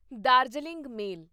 Darjeeling ਮੇਲ